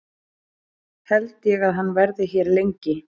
Held ég að hann verði hér lengi?